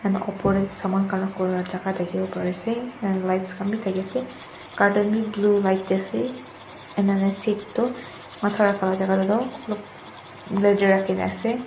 ma upor tae saman khan rakhiwo la jaka thakiwo parease and lights khan bi thakiase curtain bi blue light tae ase enana seat toh matha rakha la jaka tae toh olop leather rakhina ase.